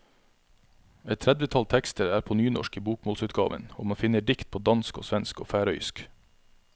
Et tredvetall tekster er på nynorsk i bokmålsutgaven, og man finner dikt på dansk og svensk og færøysk.